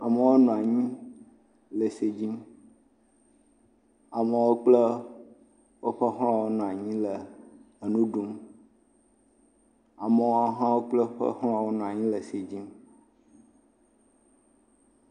Amewo nɔ anyi le ese dzim. Amewo kple woƒe xlɔ̃wo nɔ anyi le enu. Amewo hã kple woƒe xlɔ̃ wonɔ anyi le se dzim.